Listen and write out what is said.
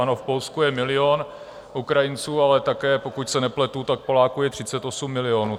Ano, v Polsku je milion Ukrajinců, ale také, pokud se nepletu, tak Poláků je 38 milionů.